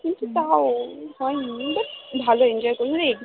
কিন্তু তাও হয়নি ভালোই enjoy করলি?